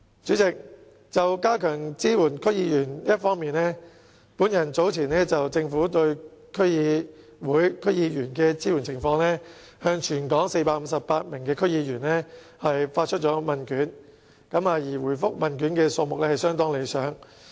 主席，在加強支援區議員方面，本人早前就政府對區議會、區議員的支援情況向全港458名區議員發出問卷調查，回覆問卷的數目相當理想。